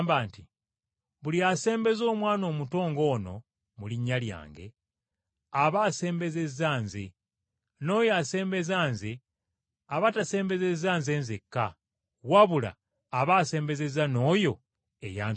“Buli asembeza omwana omuto ng’ono mu linnya lyange, aba asembezezza nze. N’oyo asembeza nze aba tasembezezza nze nzekka, wabula aba asembezezza n’oyo eyantuma.”